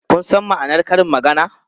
Kun san ma'anar karin maganar?